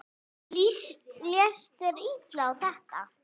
Leist þér illa á þetta?